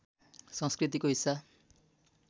संस्कृतिको हिस्सा